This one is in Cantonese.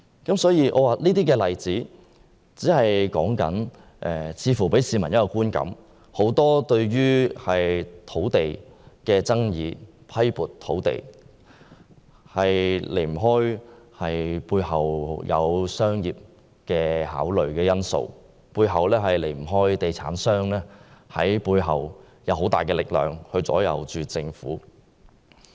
這些例子似乎給予市民一個觀感，就是在政府批撥土地的決定背後，離不開商業考慮因素，離不開地產商以很大的力量左右政府。